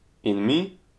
In mi?